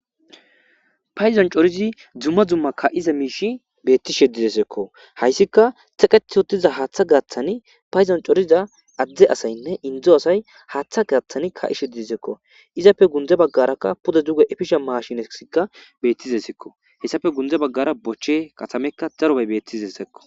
Payzon corizi dzumma dzumma ka7iza miishi beetti sheddidesekko hayssika teqeti uttiza haaththa gaaththani payzon coriza adde asaynne indzo asay haaththa gaaththani ka7i sheddiesekko izappe gunde baggarakka puda duge efisha maashinesikka beettizesekko hessafe gunde baggara bochche katamekka darobey bettizeseekko